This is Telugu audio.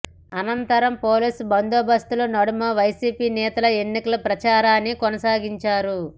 అనంతరం పోలీస్ బందోబస్తు నడుమ వైసిపి నేతలు ఎన్నికల ప్రచారాన్ని కొనసాగించారు